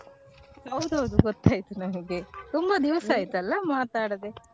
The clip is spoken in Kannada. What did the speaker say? ಹೌದೌದು ಗೊತ್ತಾಯ್ತು ನನಗೆ ತುಂಬಾ ದಿವ್ಸ ಆಯ್ತಲ್ಲ ಮಾತ್ ಆಡದೆ.